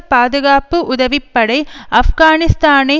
பாதுகாப்பு உதவி படை ஆப்கானிஸ்தானை